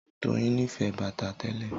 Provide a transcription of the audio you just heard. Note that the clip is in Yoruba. Doyin nífẹ̀ẹ́ bàtà tẹ́lẹ̀